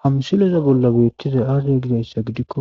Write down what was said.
Ha misileza bolla beettizay aaze gidayssa gidikko